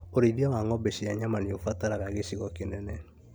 ũrĩithia wa ng'ombe cia nyama nĩũbataraga gĩcigo kĩnene